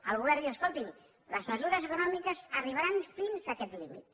el govern diu escolti’m les mesures econòmiques arribaran fins a aquest límit